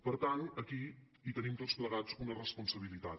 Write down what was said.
per tant aquí hi tenim tots plegats una responsabilitat